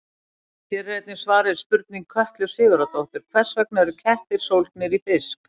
Hér er einnig svarað spurningu Kötlu Sigurðardóttur: Hvers vegna eru kettir sólgnir í fisk?